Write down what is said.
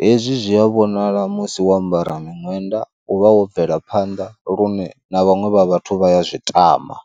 hezwi zwi a vhonala musi wo ambara miṅwenda u vha wo bvela phanḓa lune na vhaṅwe vha vhathu vha ya zwi tama.